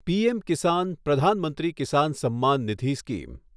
PM Kisan Pradhan Mantri Kisan Samman Nidhi scheme